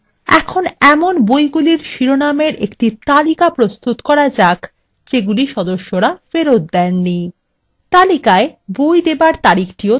এখন এমন বইগুলির শিরোনামের একটি তালিকা প্রস্তুত করা যাক যেগুলি সদস্যরা ফেরত দেননি তালিকায় বই দেবার তারিখটিও থাকবে